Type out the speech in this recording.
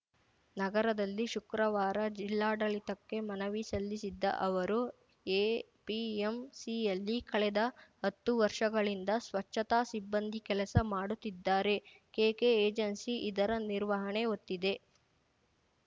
ನಗರದಲ್ಲಿ ಶುಕ್ರವಾರ ಜಿಲ್ಲಾಡಳಿತಕ್ಕೆ ಮನವಿ ಸಲ್ಲಿಸಿದ್ದ ಅವರು ಎಪಿಎಂಸಿಯಲ್ಲಿ ಕಳೆದ ಹತ್ತು ವರ್ಷಗಳಿಂದ ಸ್ವಚ್ಛತಾ ಸಿಬ್ಬಂದಿ ಕೆಲಸ ಮಾಡುತ್ತಿದ್ದಾರೆ ಕೆಕೆಏಜೆನ್ಸಿ ಇದರ ನಿರ್ವಹಣೆ ಹೊತ್ತಿದೆ